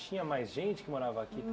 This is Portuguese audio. Tinha mais gente que morava aqui?